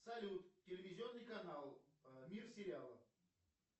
салют телевизионный канал мир сериалов